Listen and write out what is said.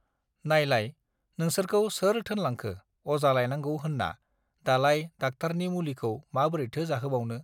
नायलाय नोंसोरखौ सोर थोनलांखो अजा लायनांगौ होन्ना दा लाय दाकटारनि मुलिखौ माबोरैथो जाहोबावनो